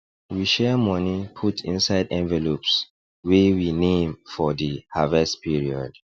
we share money put inside envelopes wey we name for di harvest period